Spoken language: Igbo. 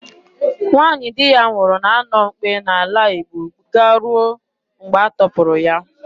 Nwaanyị di ya nwụrụ na-anọ mkpe n'ala Igbo garuo mgbe a tọpụrụ.